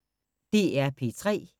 DR P3